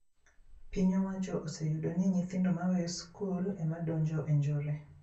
Piny owacho oseyudo ni nyithindo maweyo skul e ma donje e njore